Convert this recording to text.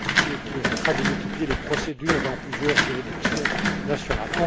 ce qui évitera de multiplier les procédures dans plusieurs juridictions nationales.